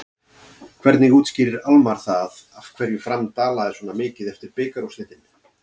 Hvernig útskýrir Almarr það af hverju Fram dalaði svona mikið eftir bikarúrslitin?